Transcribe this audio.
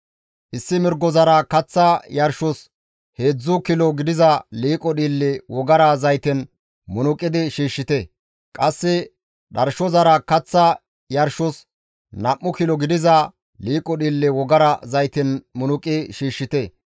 Issi mirgozara kaththa yarshos heedzdzu kilo gidiza liiqo dhiille wogara zayten munuqidi shiishshite; qasse dharshozara kaththa yarshos nam7u kilo gidiza liiqo dhiille wogara zayten munuqi shiishshite.